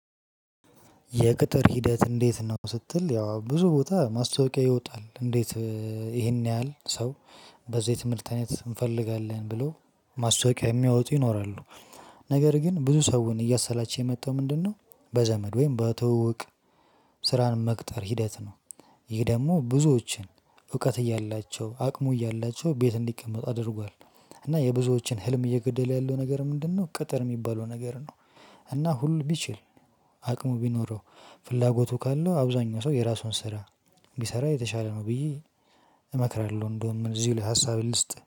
የቅጥር ሂደት እንዴት ነው ስትል ያው ብዙ ቦታ ማስታወቂያ ይወጣል እንዴት ይሄን ያህል ሰው በዚህ ትምህርት አይነት እንፈልጋለን ብሎ ማስታወቂያ የሚያወጡ ይኖራሉ። ነገር ግን ብዙ ሰውን እያሰላቸው የመጣው ምንድነው በዘመድ ወይም በትውውቅ ስራን መቅጠር ሂደት ነው። ይህ ደሞ ብዙዎችን እውቀት እያላቸው አቅሙ እያላቸው ቤት እንድቀመጡ አድርጓል። እና የብዙዎችን ህልም እየገደለ ያለወ ነገር ምንድነው ቅጥር የሚባለው ነገር ነው። እና ሁሉ ቢችል አቅሙ ቢኖረው ፍላጎቱ ካለው አብዛኛው ሰው የራሷን ስራ ቢሰራ የተሻለ ነው ብዬ እመክራለሁ እንደውም እዚህ ላይ ሀሳቤን ልስጥ